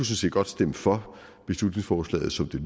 set godt stemme for beslutningsforslaget som det